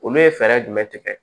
Olu ye fɛɛrɛ jumɛn tigɛ